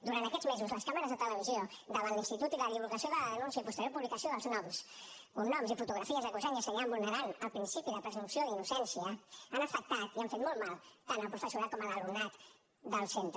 durant aquests mesos les càmeres de televisió davant l’institut i la divulgació de la denúncia i posterior publicació dels noms cognoms i fotografies acusant i assenyalant vulnerant el principi de presumpció d’innocència han afectat i han fet molt mal tant al professorat com a l’alumnat del centre